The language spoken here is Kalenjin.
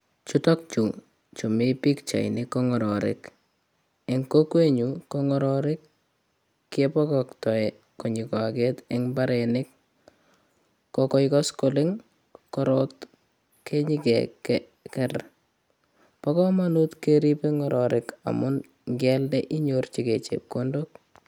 Chutok chu chumi pichait ni ko ng'ororik ,kiboktoi konyo koaket en mbarenik ko ngoit koskoleng' korot kenyokeker. Bo komonut keribe ng'ororik amun ngealda inyorchigei chepkondok.